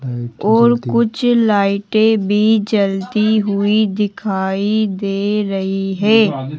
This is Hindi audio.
और कुछ लाइटें भी जलती हुई दिखाई दे रही है।